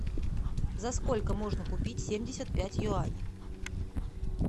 за сколько можно купить семьдесят пять юаней